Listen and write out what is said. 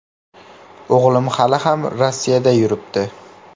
O‘g‘lim hali ham Rossiyada yuribdi.